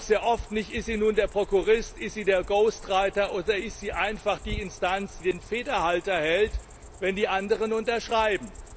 Sie wusste doch sehr oft nicht, ist sie nun der Prokurist, ist sie der Ghostwriter, oder ist sie einfach die Instanz, die den Federhalter hält, wenn die anderen unterschreiben!